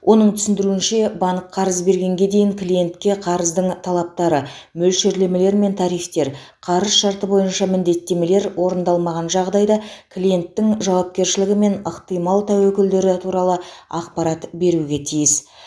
оның түсіндіруінше банк қарыз бергенге дейін клиентке қарыздың талаптары мөлшерлемелер мен тарифтер қарыз шарты бойынша міндеттемелер орындалмаған жағдайда клиенттің жауапкершілігі мен ықтимал тәуекелдері туралы ақпарат беруге тиіс